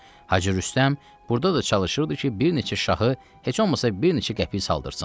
Hacı Rüstəm burda da çalışırdı ki, bir neçə şahı, heç olmasa bir neçə qəpik saldırsın.